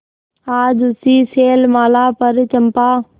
आज उसी शैलमाला पर चंपा